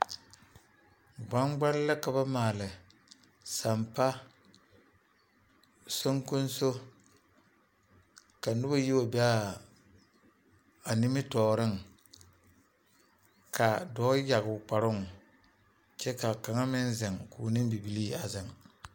Gbaŋgbale la ka ba maale sampa soŋkonso ka noba yi wa be a nimitɔɔreŋ ka dɔɔ yaga o kparoŋ kyɛ ka a kaŋa meŋ zeŋ k'o ne bibilii a zeŋ.